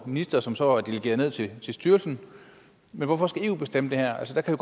minister som så er delegeret videre til en styrelse men hvorfor skal eu bestemme det her altså der kan